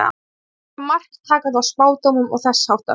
Er eitthvert mark takandi á spádómum og þess háttar?